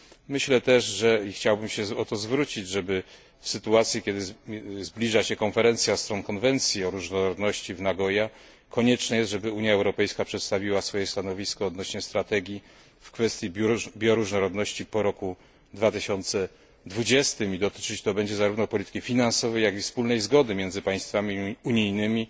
Myślę też i chciałbym się o to zwrócić, żeby w sytuacji kiedy zbliża się konferencja stron konwencji o różnorodności w Nagoya konieczne jest, żeby Unia Europejska przedstawiła swoje stanowisko odnośnie strategii w kwestii bioróżnorodności po roku 2020 i dotyczyć to będzie zarówno polityki finansowej, jak i wspólnej zgody między państwami unijnymi